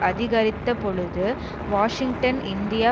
அதிகரித்தபொழுது Washington India